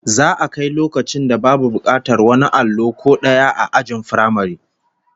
Za'a kai loakcin da babu bukatar wani allo ko daya ajin firamare